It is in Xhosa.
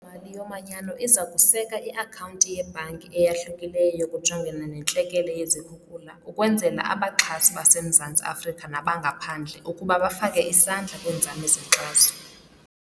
Mali yoManyano iza kuseka i-akhawunti yebhanki eyahlukileyo yokujongana nentlekele yezikhukula ukwenzela abaxhasi baseMzantsi Afrika nabangaphandle ukuba bafake isandla kwiinzame zenkxaso.